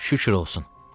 Şükür olsun.